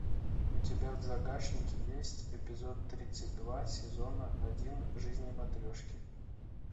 у тебя в загашнике есть эпизод тридцать два сезона один жизни матрешки